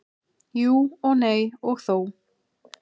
Jú og nei og þó.